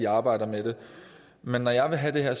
arbejder med det men når jeg vil have det her er